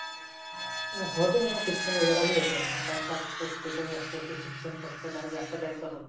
हो ते म्हणा शिक्षण वगैरा बी होते म्हणा time pass तर त्याच्या हुन जास्त होते. शिक्षण पेक्षा जास्त time pass होते.